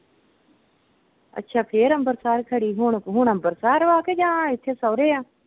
ਅੱਛਾ, ਫਿਰ ਅੰਬਰਸਰ ਖੜੀ। ਹੁਣ ਹੁਣ ਅੰਬਰਸਰ ਵਾਂ ਕਿ ਜਾ ਇੱਥੇ ਸਹੁਰੇ ਆ?